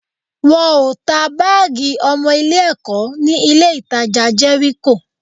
Wọn ò ta báàgì ọmọ Ilé-ẹ̀kọ́ ní ilé-ìtajà Jẹ́ríkò